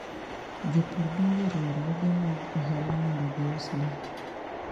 Jopur donjo e riwruoge mag ohala mondo gius le.